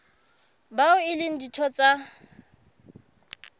bao e leng ditho tsa